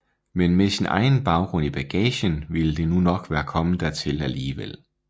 Men med sin egen baggrund i bagagen ville det nu nok være kommet dertil alligevel